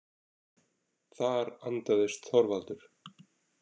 Þar andaðist Þorvaldur.